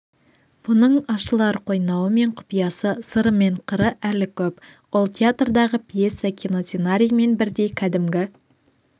бұның ашылар қойнауы мен құпиясы сыры мен қыры әлі көп ол театрдағы пьеса киносценариймен бірдей кәдімгі